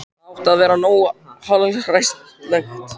Það átti að vera nógu hallærislegt.